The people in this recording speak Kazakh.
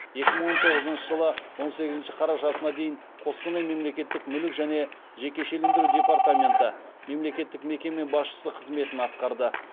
екі мың он тоғызыншы жылы он сегізінші қарашасына дейін қостанай мемлекеттік мүлік және жекешелендіру департаменті мемлекеттік мекеме басшысы қызметін атқарды